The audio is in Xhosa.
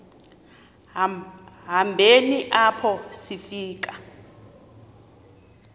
hambeni apho sifika